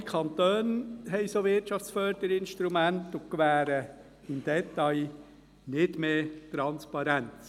Auch andere Kantone haben solche Wirtschaftsförderinstrumente und gewähren im Detail nicht mehr Transparenz.